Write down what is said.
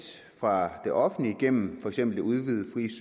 fra det offentlige gennem for eksempel det udvidede